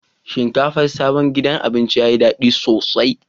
Shinkafar sabon gidan abincin ta yi daɗi sosai.